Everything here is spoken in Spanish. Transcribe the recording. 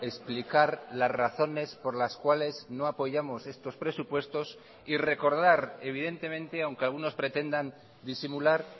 explicar las razones por las cuales no apoyamos estos presupuestos y recordar evidentemente aunque algunos pretendan disimular